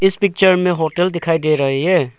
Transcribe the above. इस पिक्चर में होटल दिखाई दे रही है।